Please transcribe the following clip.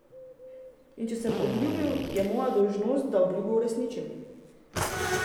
In če sem obljubil, je moja dolžnost, da obljubo uresničim.